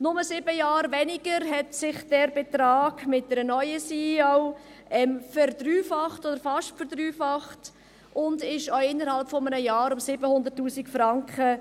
Nur sieben Jahre später hat sich dieser Betrag mit einer neuen CEO verdreifacht oder fast verdreifacht, und stieg auch innerhalb eines Jahres um 700 000 Franken